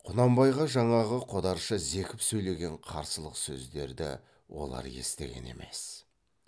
құнанбайға жаңағы қодарша зекіп сөйлеген қарсылық сөздерді олар естіген емес